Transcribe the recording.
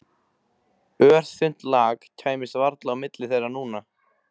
Örþunnt lak kæmist varla á milli þeirra núna.